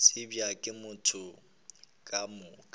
tsebja ke batho ka moka